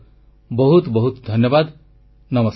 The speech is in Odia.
ଆପଣମାନଙ୍କୁ ବହୁତ ବହୁତ ଧନ୍ୟବାଦ